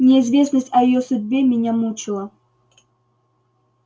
неизвестность о её судьбе меня мучила